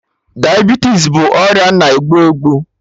Diabetes bụ ọrịa na egbu egbu